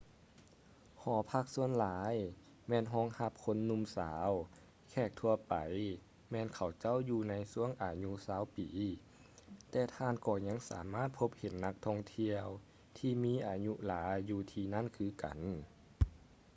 ຫໍພັກສ່ວນຫຼາຍແມ່ນຮອງຮັບຄົນໜຸ່ມສາວ ແຂກທົ່ວໄປແມ່ນເຂົາເຈົ້າຢູ່ໃນຊ່ວງອາຍຸຊາວປີ ແຕ່ທ່ານກໍຍັງສາມາດພົບເຫັນນັກທ່ອງທ່ຽວທີ່ມີອາຍຸຫຼາຍຢູ່ທີ່ນັ້ນຄືກັນ